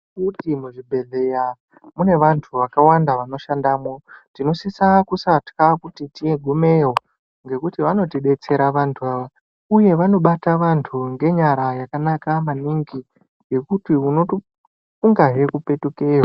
Mwaizviys ere kuti muzvibhedhleya mune vanhu vakawanda vanoshandamwo. Tinosise kusatya kuti tigumeyo ngekuti vanotidetsera vanhu ava uye vanobata anhu ngenyara dzakanaka maningi zvekuti unotofungahe kupetukeyo.